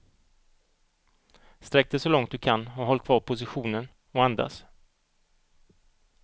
Sträck dig så långt du kan och håll kvar positionen och andas.